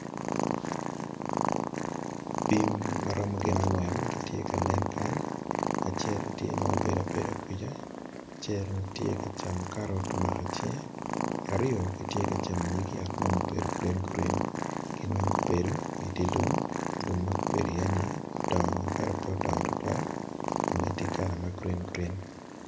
Bim maromo gin angwen gitye ka nen kany, acel tye ma obedo abeda kwija acel tye ka camo karot tye omako i cinge, aryo gitye kacamo nying yat mo mubedo gurin gurin, gin weng gubedo i dye lum, lum ma gubedo iye-ni odong ento pe odongo tutwal kome ti kala ma gurin gurin.